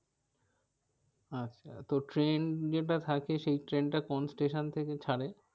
আচ্ছা তো ট্রেন যেটা থাকে সেই ট্রেনটা কোন station থেকে ছারে?